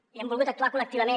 i hem volgut actuar col·lectivament